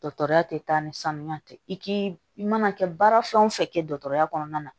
Dɔgɔtɔrɔya tɛ taa ni sanuya tɛ i k'i i mana kɛ baara fɛn o fɛn kɛ dɔgɔtɔrɔya kɔnɔna na